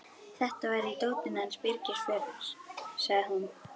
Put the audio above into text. Þetta var í dótinu hans Birgis Björns, sagði hún.